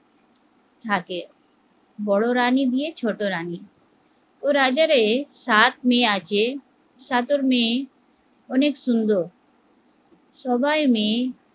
থাকে, বড়ো রানী গিয়ে ছোট রানী, তো রাজারে সাত মেয়ে আছে, সাত মেয়ে অনেক সুন্দর, সবাই মেয়ে